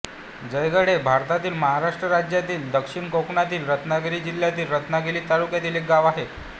जयगड हे भारतातील महाराष्ट्र राज्यातील दक्षिण कोकणातील रत्नागिरी जिल्ह्यातील रत्नागिरी तालुक्यातील एक गाव आहे